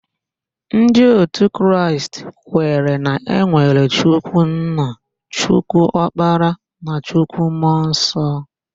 Ndị otu Kraịst kwere na enwere Chukwu nna, Chukwu okpara na Chukwu mmụọ nsọ.